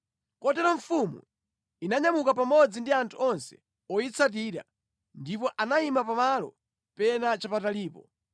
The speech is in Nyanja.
Kotero mfumu inanyamuka pamodzi ndi anthu onse oyitsatira, ndipo anayima pamalo pena chapatalipo.